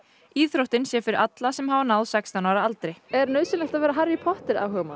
íþróttin sé fyrir alla sem hafa náð sextán ára aldri er nauðsynlegt að vera Harry Potter